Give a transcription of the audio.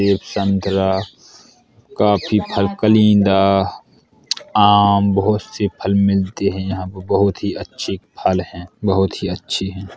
Save संतरा काफी फल कलिंदा आम बोहुत से फल मिलते हैं यहाँ पर बोहुत ही अच्छे फल हैं बोहुत ही अच्छे हैं।